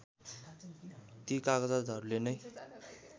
ती कागजातहरुले नै